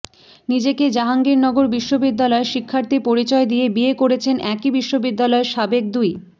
নিজেকে জাহাঙ্গীরনগর বিশ্ববিদ্যালয়ের শিক্ষার্থী পরিচয় দিয়ে বিয়ে করেছেন একই বিশ্ববিদ্যালয়ের সাবেক দুই